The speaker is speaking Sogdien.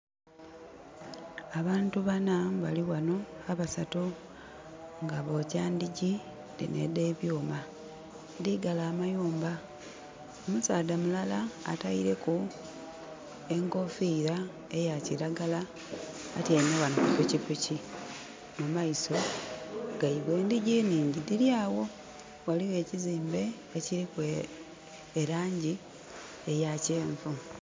Abantu bana balighanho, abasatu nga bokya ndhigi dhino edhe byuma edhigala amayumba. Omusaadha mulala ateireku enkufira eya kiragala atyeime ghanho ku pikipiki mu meiso geibwe. Endhigi nhingi dhiri agho ghaligho ekizimbe ekiriku e langi eya kyenvu.